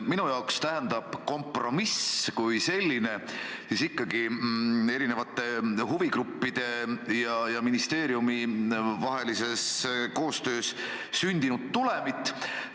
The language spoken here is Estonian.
Minu jaoks tähendab kompromiss kui selline eri huvigruppide ja ministeeriumi vahelises koostöös sündinud tulemit.